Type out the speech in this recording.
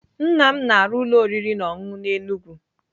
Nnam m na-arụ ụlọ oriri na ọṅụṅụ n'Enugwu.